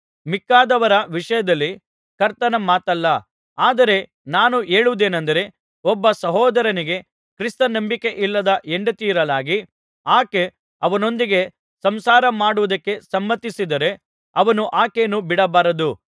ಮಿಕ್ಕಾದವರ ವಿಷಯದಲ್ಲಿ ಕರ್ತನ ಮಾತಲ್ಲ ಆದರೆ ನಾನು ಹೇಳುವುದೇನಂದರೆ ಒಬ್ಬ ಸಹೋದರನಿಗೆ ಕ್ರಿಸ್ತ ನಂಬಿಕೆಯಿಲ್ಲದ ಹೆಂಡತಿಯಿರಲಾಗಿ ಆಕೆ ಅವನೊಂದಿಗೆ ಸಂಸಾರ ಮಾಡುವುದಕ್ಕೆ ಸಮ್ಮತಿಸಿದರೆ ಅವನು ಆಕೆಯನ್ನು ಬಿಡಬಾರದು